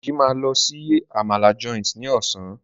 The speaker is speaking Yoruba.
Deji ma ló sì Àmàlà Joint ní Ọ̀sán.